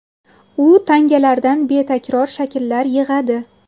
U tangalardan betakror shakllar yig‘adi.